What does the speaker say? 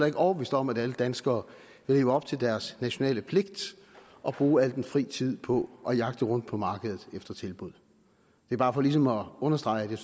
ikke overbevist om at alle danskere vil leve op til deres nationale pligt og bruge al den fri tid på at jagte rundt på markedet efter tilbud det er bare for ligesom at understrege at jeg